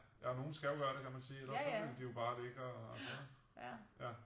Ja men nogle skal jo gøre det kan man sige ellers så ville de jo bare ligge og øh ja